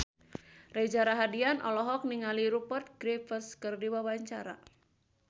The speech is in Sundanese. Reza Rahardian olohok ningali Rupert Graves keur diwawancara